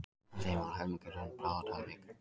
Af þeim var helmingurinn bráðatilvik